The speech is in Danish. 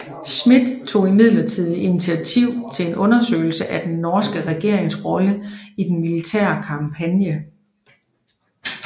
Schmidt tog imidlertid initiativet til en undersøgelse af den norske regerings rolle i den militære kampagne